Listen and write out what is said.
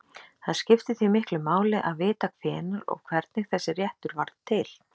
Það skiptir því miklu máli að vita hvenær og hvernig þessi réttur varð til.